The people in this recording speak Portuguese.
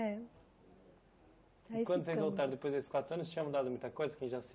É. Aí ficamos E quando vocês voltaram, depois desses quatro anos, tinha mudado muita coisa, quem já se...